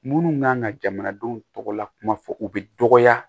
Munnu kan ka jamanadenw tɔgɔ lakuma fɔ u bɛ dɔgɔya